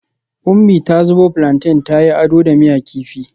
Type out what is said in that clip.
Umi ta zubo plantain ta yi ado da miya kifi